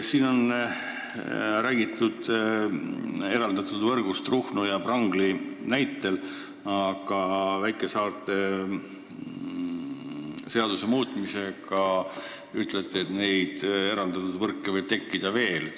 Siin on räägitud eraldatud võrgust Ruhnu ja Prangli näitel, aga väikesaarte seaduse muutmisega saab teie sõnul eraldatud võrke tekkida veel.